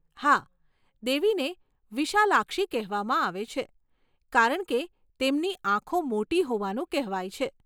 હા, દેવીને વિશાલાક્ષી કહેવામાં આવે છે કારણ કે તેમની આંખો મોટી હોવાનું કહેવાય છે.